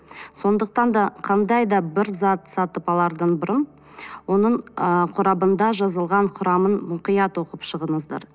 сондықтан да қандай да бір зат сатып алардан бұрын оның ы қорабында жазылған құрамын мұқият оқып шығыңыздар